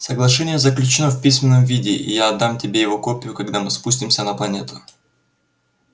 соглашение заключено в письменном виде и я отдам тебе его копию когда мы спустимся на планету